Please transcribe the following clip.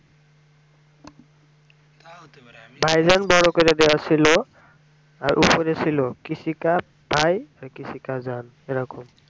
ভাইজান বড়ো করে দেওয়া ছিল এর উপরে ছিল kisi ka bhai kisi ki jaan এরকম